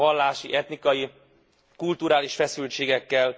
Mi lesz a vallási, etnikai, kulturális feszültségekkel?